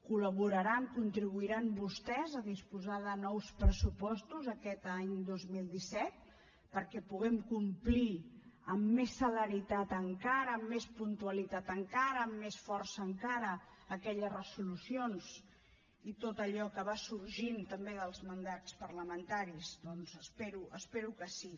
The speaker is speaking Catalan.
col·laboraran contribuiran vostès a disposar de nous pressupostos aquest any dos mil disset perquè puguem complir amb més celeritat encara amb més puntualitat encara amb més força encara aquelles resolucions i tot allò que va sorgint també dels mandats parlamentaris doncs espero que sí